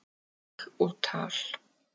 Mál og tal